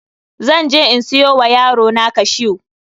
Zan je in siyo wa yarona cashew.